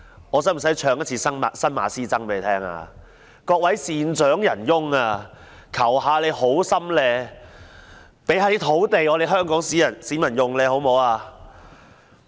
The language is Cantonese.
我是否需要唱新馬師曾的歌曲："各位善長仁翁，求你們好心給一些土地香港市民使用，好嗎？